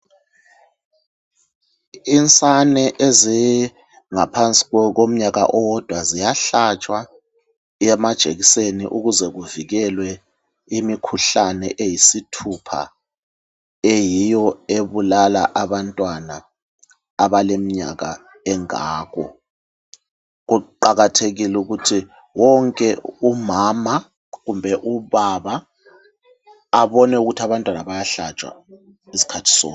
Insane ezingaphansi komnyaka owodwa ziyahlatshwa amajekiseni ukuze kuvikelwe imikhuhlane eyisithupha eyiyo ebulala abantwana abaleminyaka engako. Kuqakathekile ukuthi wonke umama kumbe ubaba abone ukuthi abantwana bayahlatshwa iskhathi sonke.